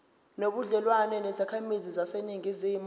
nobudlelwane nezakhamizi zaseningizimu